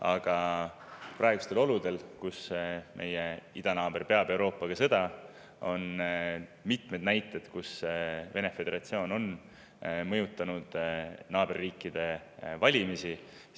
Aga praegustes oludes, kus meie idanaaber peab Euroopaga sõda, on mitmeid näiteid, kui Vene föderatsioon on mõjutanud naaberriikide valimisi.